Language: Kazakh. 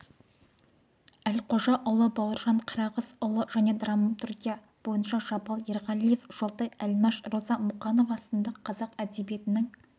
әлқожаұлы бауыржан қарағызұлы және драмтургия бойынша жабал ерғалиев жолтай әлмаш роза мұқанова сынды қазақ әдебиетінің